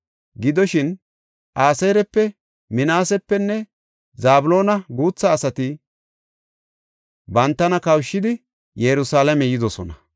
Gidoshin, Aseerape, Minaasepenne Zabloona guutha asati bantana kawushidi Yerusalaame yidosona.